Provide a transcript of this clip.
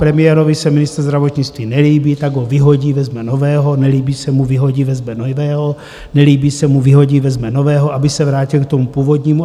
Premiérovi se ministr zdravotnictví nelíbí, tak ho vyhodí, vezme nového, nelíbí se mu, vyhodí, vezme nového, nelíbí se mu, vyhodí, vezme nového, aby se vrátil k tomu původnímu.